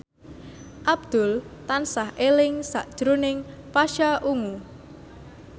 Abdul tansah eling sakjroning Pasha Ungu